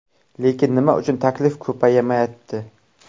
Lekin nima uchun taklif ko‘paymayapti?